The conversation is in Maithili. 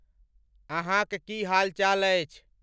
अहाँक की हाल चाल अछि?